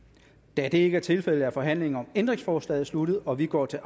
da det ikke er tilfældet er forhandlingen om ændringsforslaget sluttet og vi går til